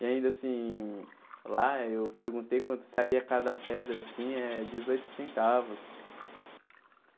E ainda assim, lá eu perguntei quanto saía cada pedra, assim, é dezoito centavos.